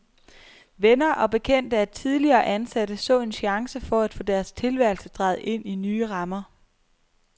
Venner og bekendte af tidligere ansatte så en chance for at få deres tilværelse drejet ind i nye rammer.